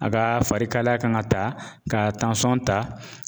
A ka farikalaya kan ka ta ka ta